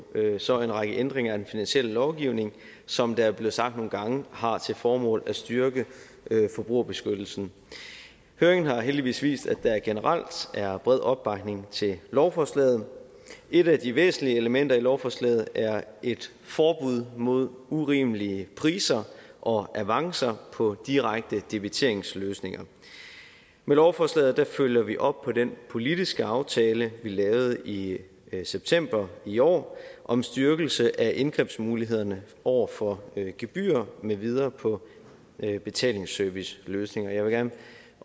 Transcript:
så en række ændringer af den finansielle lovgivning som det er blevet sagt nogle gange har til formål at styrke forbrugerbeskyttelsen høringen har heldigvis vist at der generelt er bred opbakning til lovforslaget et af de væsentlige elementer i lovforslaget er et forbud mod urimelige priser og avancer på direkte debiteringsløsninger med lovforslaget følger vi op på den politiske aftale vi lavede i september i år om styrkelse af indgrebsmulighederne over for gebyrer med videre på betalingsserviceløsninger jeg vil